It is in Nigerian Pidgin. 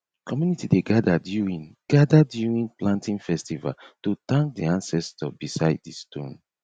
community dey gather during gather during planting festival to thank di ancestor beside di stone